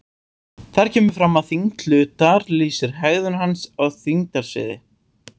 Þar kemur fram að þyngd hlutar lýsir hegðun hans í þyngdarsviði.